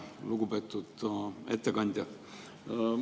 Lugupeetud ettekandja!